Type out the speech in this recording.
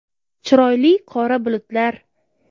Chiroyli qora bulutlar!.